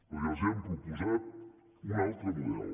o els hem proposat un altre model